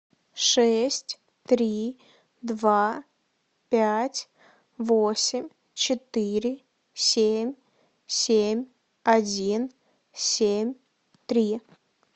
шесть три два пять восемь четыре семь семь один семь три